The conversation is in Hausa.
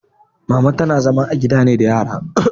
Mama tana zama ne a gida da yara